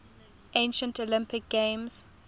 ancient olympic games